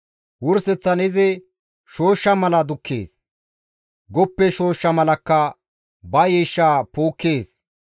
Wurseththan izi shooshsha mala dukkees; goppe shooshsha malakka ba yiishsha puukkees.